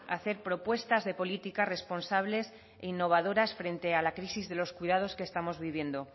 hacer propuestas de políticas responsables innovadoras frente a la crisis de los cuidados que estamos viviendo